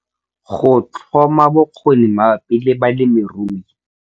Go tlhoma bokgoni mabapi le balemirui.